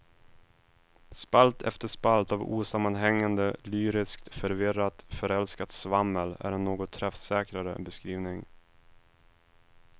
Spalt efter spalt av osammanhängande, lyriskt, förvirrat, förälskat svammel är en något träffsäkrare beskrivning.